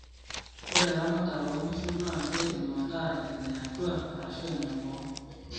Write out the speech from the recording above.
ore eramAatare oo inkishu naa keidim ataa ene atua arashu eneboo